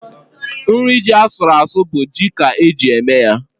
Nri ji asụrụ asụ bụ ji ka eji eme ya.